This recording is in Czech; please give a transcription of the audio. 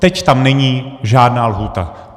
Teď tam není žádná lhůta.